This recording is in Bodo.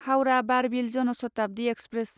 हाउरा बारबिल जन शताब्दि एक्सप्रेस